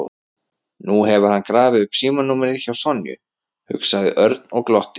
Nú hefur hann grafið upp símanúmerið hjá Sonju, hugsaði Örn og glotti.